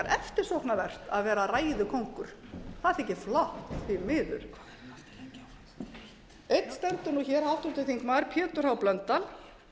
eftirsóknarvert að vera ræðukóngur það þykir flott því miður einn stendur hér háttvirtur þingmaður pétur h blöndal